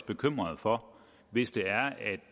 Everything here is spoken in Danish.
bekymret for hvis det er at